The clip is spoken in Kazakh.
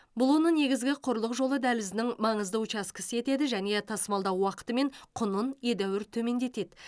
бұл оны негізгі құрлық жолы дәлізінің маңызды учаскесі етеді және тасымалдау уақыты мен құнын едәуір төмендетеді